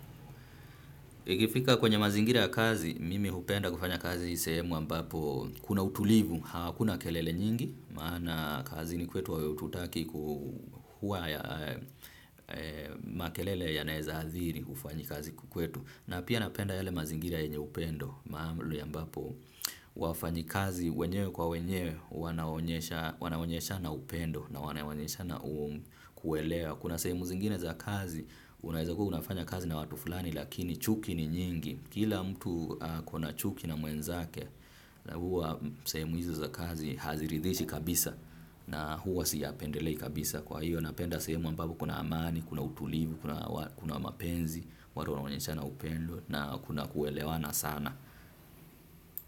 Ikifika kwenye mazingira ya kazi, mimi hupenda kufanya kazi sehemu ambapo kuna utulivu, hakuna kelele nyingi maana kazini kwetu hatutaki kukua na makelele yanaweza adhiri kufanya kazi kwetu. Na pia napenda yale mazingira yenye upendo mahali ambapo wafanyikazi wenyewe kwa wenyewe wanaonyesha wanaonyeshana upendo na wanaonyeshana kuelewa. Kuna sehemu zingine za kazi unawezakuwa unafanya kazi na watu fulani lakini chuki ni nyingi. Kila mtu ako na chuki na mwenzake na huwa semu hizo za kazi haziridhishi kabisa na huwa siyapendelei kabisa. Kwa hiyo napenda sehemu ambapo kuna amani kuna utulivu, kuna mapenzi, watu wana onyeshana upendo na kuna kuelewana sana.